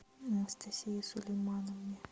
анастасии сулеймановне